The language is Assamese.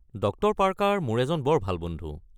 ডক্টৰ পাৰ্কাৰ মোৰ এজন বৰ ভাল বন্ধু।